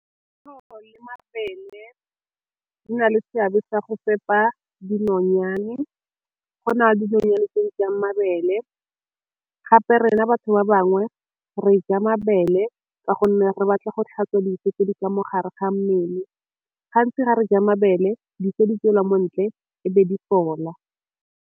le mabele di na le seabe sa go fepa dinonyane, go na le dinonyane tse di jang mabele gape rena batho ba ba bangwe re ja mabele ka gonne re batla go tlhatswa di ka mogare ga mmele, gantsi ga re ja mabele di tswelwa mo ntle e be di fola.